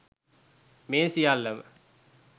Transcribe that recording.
මේ සියල්ලම